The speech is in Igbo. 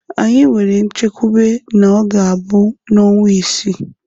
Anyị nwere nchekwube na ọ ga-abụ n'ọnwa isii.